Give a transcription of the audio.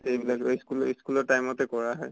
এই বিলাক তʼ school ৰ school ৰ time তে কৰা হয়।